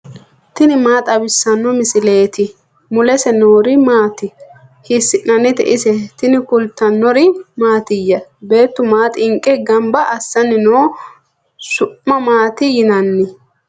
tini maa xawissanno misileeti ? mulese noori maati ? hiissinannite ise ? tini kultannori mattiya? Beettu maa xinqe ganiba assanni noo su'ma maatti yinnanni?